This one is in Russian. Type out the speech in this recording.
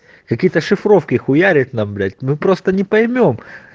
какие-то шифровки хуярят нам блять мы просто не поймём